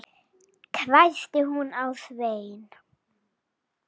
hvæsti hún á Svein